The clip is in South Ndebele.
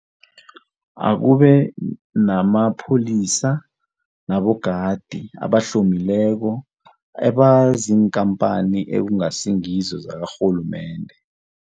Akube namapholisa nabogadi abahlomileko ebaziinkampani ekungasingizo zakarhulumende.